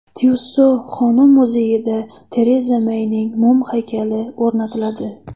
Tyusso xonim muzeyida Tereza Meyning mum haykali o‘rnatiladi.